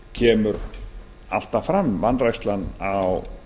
kemur alltaf fram vanrækslan á